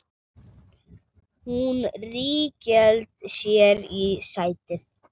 Hún ríghélt sér í sætið.